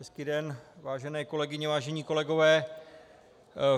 Hezký den, vážené kolegyně, vážení kolegové.